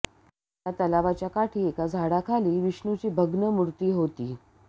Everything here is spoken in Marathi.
या तलावाच्या काठी एका झाडाखाली विष्णूची भग्न मूर्ती होती